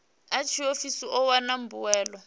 a tshiofisi u wana mbuelo